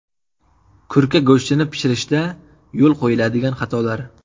Kurka go‘shtini pishirishda yo‘l qo‘yiladigan xatolar.